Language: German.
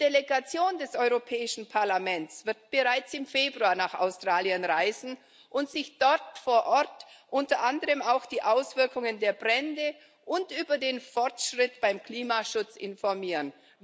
Die Delegation des Europäischen Parlaments wird bereits im Februar nach Australien reisen und sich dort vor Ort unter anderem auch über die Auswirkungen der Brände und den Fortschritt beim Klimaschutz informieren.